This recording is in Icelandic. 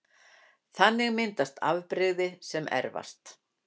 Þannig myndast afbrigði sem erfast